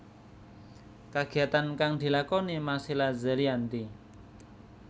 Kagiyatan kang dilakoni Marcella Zalianty